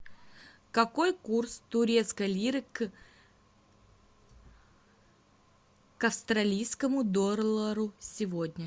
какой курс турецкой лиры к австралийскому доллару сегодня